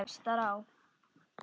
Tárin knúðu æ fastar á.